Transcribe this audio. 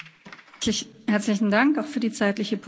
Herzlichen Dank, auch für die zeitliche Punktlandung.